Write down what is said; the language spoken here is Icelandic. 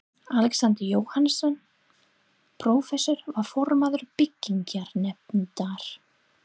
Alexander Jóhannesson, prófessor, var formaður byggingarnefndar